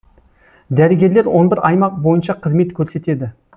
дәрігерлер он бір аймақ бойынша қызмет көрсетеді